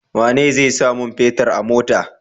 Wane zai sa mun fetir a mota?